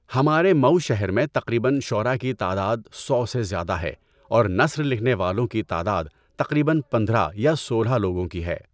ہمارے مئو شہر میں تقریباً شعراء کی تعداد سو سے زیادہ ہے اور نثر لکھنے والوں کی تعداد تقریباً پندرہ یا سولہ لوگوں کی ہے.